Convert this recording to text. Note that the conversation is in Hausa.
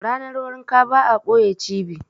Ranar wanka ba a ɓoye cibi.